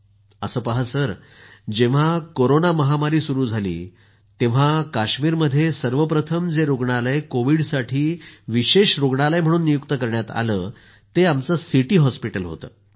नावीदः जेंव्हा कोरोना महामारी सुरू झाली तेव्हा सर्वप्रथम जे रूग्णालय कोविड़साठी विशेष रूग्णालय म्हणून नियुक्त करण्यात आलं ते आमचं सिटी हॉस्पिटल होतं